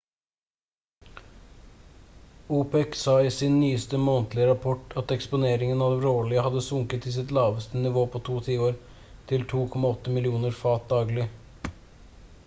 opec sa i sin nyeste månedlige rapport at eksporteringen av råolje hadde sunket til sitt laveste nivå på to tiår til 2,8 millioner fat daglig